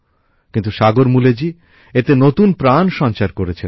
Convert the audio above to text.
কিন্তু সাগর মূলেজী এতে নতুন প্রাণ সঞ্চার করেছেন